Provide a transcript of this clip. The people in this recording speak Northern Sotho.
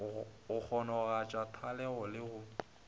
go kgonagatša thwalego le go